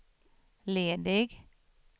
ledig